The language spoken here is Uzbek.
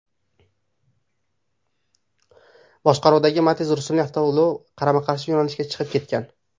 boshqaruvidagi Matiz rusumli avtoulov qarama-qarshi yo‘nalishga chiqib ketgan.